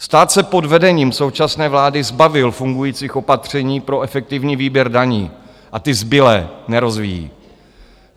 Stát se pod vedením současné vlády zbavil fungujících opatření pro efektivní výběr daní a ty zbylé nerozvíjí.